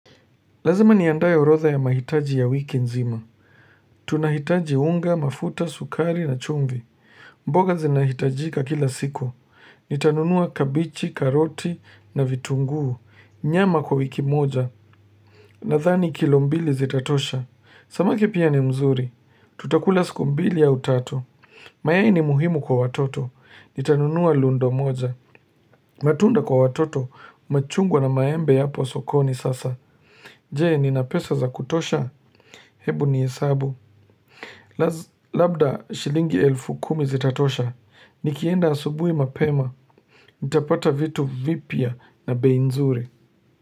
Lazima niandae orodha ya mahitaji ya wiki nzima. Tunahitaji unga, mafuta, sukari na chumvi. Mboga zinahitajika kila siku. Nitanunua kabichi, karoti na vitunguu. Nyama kwa wiki moja. Nadhani kilo mbili zitatosha. Samaki pia ni mzuri. Tutakula siku mbili au tatu. Mayai ni muhimu kwa watoto. Nitanunua lundo moja. Matunda kwa watoto. Machungwa na maembe yapo sokoni sasa. Je nina pesa za kutosha Hebu ni hesabu Labda shilingi elfu kumi zitatosha Nikienda asubuhi mapema nitapata vitu vipya na bei nzuri.